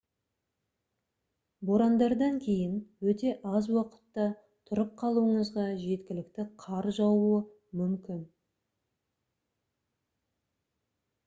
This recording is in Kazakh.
борандардан кейін өте аз уақытта тұрып қалуыңызға жеткілікті қар жаууы мүмкін